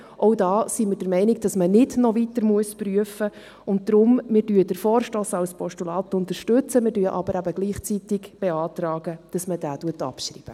Auch hier sind wir der Meinung, dass man nicht noch weiter prüfen muss, und darum: Wir unterstützen den Vorstoss als Postulat, beantragen aber eben gleichzeitig, ihn abzuschreiben.